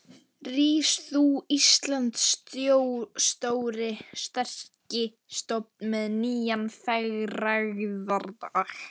Rís þú, Íslands stóri, sterki stofn með nýjan frægðardag.